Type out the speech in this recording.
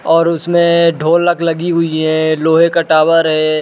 और उसमे ढोलक लगी हुई है लोहे का टावर है।